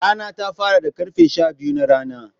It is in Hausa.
Rana ta fara da karfe Shabiyu na rana.